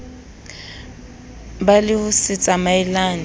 ba le ho se tsamaelane